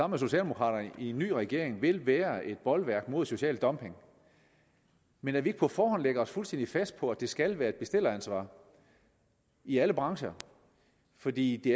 med socialdemokraterne i en ny regering vil være et bolværk mod social dumping men at vi ikke på forhånd vil lægge os fuldstændig fast på at det skal være et bestilleransvar i alle brancher fordi det